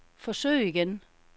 forsøg igen